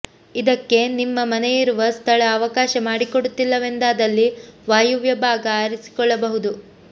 ಇದಕ್ಕೆ ನಿಮ್ಮ ಮನೆಯಿರುವ ಸ್ಥಳ ಅವಕಾಶ ಮಾಡಿಕೊಡುತ್ತಿಲ್ಲವೆಂದಾದಲ್ಲಿ ವಾಯುವ್ಯ ಭಾಗ ಆರಿಸಿಕೊಳ್ಳಬಹುದು